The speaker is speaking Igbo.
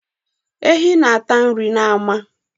Ehi na-ata nri n'ama.